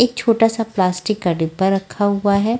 एक छोटा सा प्लास्तिक का डिब्बा रखा हुआ है।